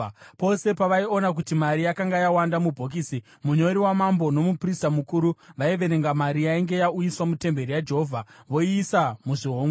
Pose pavaiona kuti mari yakanga yawanda mubhokisi, munyori wamambo nomuprista mukuru, vaiverenga mari yainge yauyiswa mutemberi yaJehovha voiisa muzvihomwe.